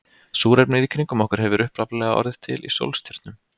súrefnið í kringum okkur hefur upphaflega orðið til í sólstjörnum